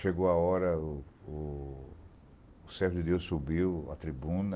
Chegou a hora, o o o servo de Deus subiu à tribuna.